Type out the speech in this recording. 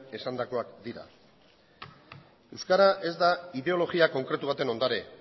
esandakoak dira euskara ez da ideologia konkretu baten ondare